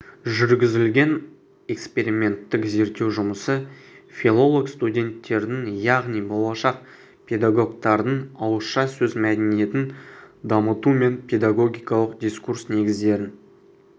жүргізілген эксперименттік зерттеу жұмысы филолог-студенттердің яғни болашақ педагогтардың ауызша сөз мәдениетін дамыту мен педагогикалық дискурс негіздерін